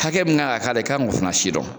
Hakɛ min kan ka k'a la i kan k'o sidɔn